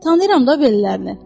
Tanıyıram da bellərini.